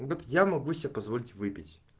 вот я могу себе позволить выпить